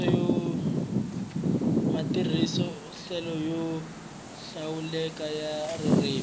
matirhiselo yo hlawuleka ya ririmi